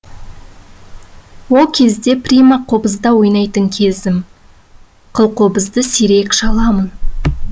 ол кезде прима қобызда ойнайтын кезім қылқобызды сирек шаламын